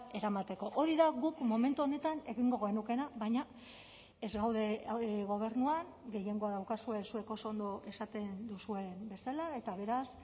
eramateko hori da guk momentu honetan egingo genukeena baina ez gaude gobernuan gehiengoa daukazue zuek oso ondo esaten duzuen bezala eta beraz